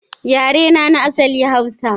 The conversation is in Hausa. Yarena na asali Hausa.